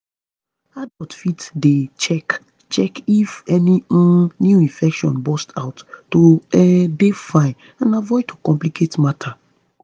adults fit dey check check if any um new infection burst out to um dey fine and avoid to complicate matter